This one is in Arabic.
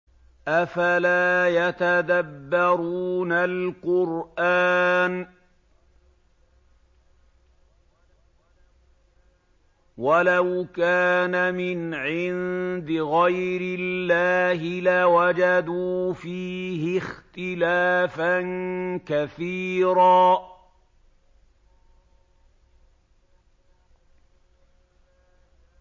أَفَلَا يَتَدَبَّرُونَ الْقُرْآنَ ۚ وَلَوْ كَانَ مِنْ عِندِ غَيْرِ اللَّهِ لَوَجَدُوا فِيهِ اخْتِلَافًا كَثِيرًا